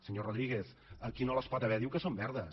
senyor rodríguez qui no les pot haver diu que són verdes